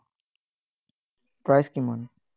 Price কিমান?